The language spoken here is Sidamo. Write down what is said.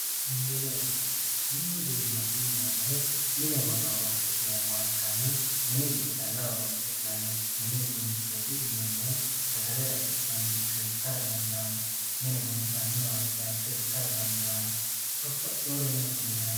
Mini uduunne mini uduunneeti yineemmohu mine worre horoonsi'neemmoha ikkanna mini giddo calla horonsi'nanniho mini uduunnichooti yineemmohu sagale raisi'neemmoricho ikkara dandaanno mine gonxanniwa baycho ikkara dandaanno babbaxxeyore mine ofollinanniwa ikkara dandaanno